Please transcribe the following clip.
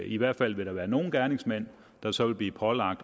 i hvert fald vil der være nogle gerningsmænd der så vil blive pålagt